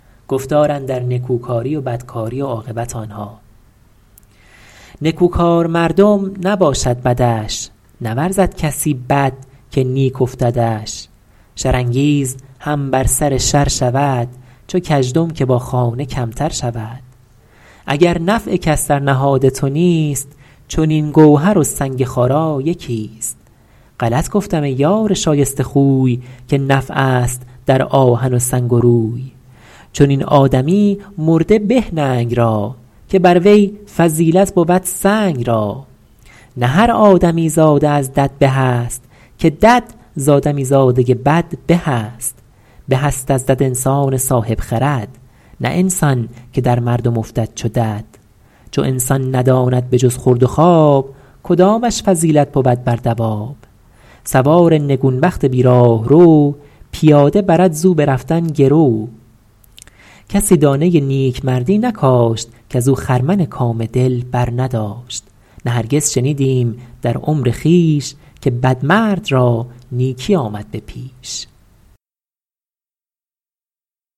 نکوکار مردم نباشد بدش نورزد کسی بد که نیک افتدش شر انگیز هم بر سر شر شود چو کژدم که با خانه کمتر شود اگر نفع کس در نهاد تو نیست چنین گوهر و سنگ خارا یکی است غلط گفتم ای یار شایسته خوی که نفع است در آهن و سنگ و روی چنین آدمی مرده به ننگ را که بر وی فضیلت بود سنگ را نه هر آدمی زاده از دد به است که دد ز آدمی زاده بد به است به است از دد انسان صاحب خرد نه انسان که در مردم افتد چو دد چو انسان نداند به جز خورد و خواب کدامش فضیلت بود بر دواب سوار نگون بخت بی راهرو پیاده برد ز او به رفتن گرو کسی دانه نیکمردی نکاشت کز او خرمن کام دل برنداشت نه هرگز شنیدیم در عمر خویش که بدمرد را نیکی آمد به پیش